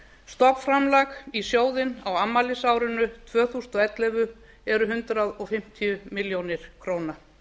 stofnframlag í sjóðinn á afmælisárinu tvö þúsund og ellefu eru hundrað fimmtíu milljónir króna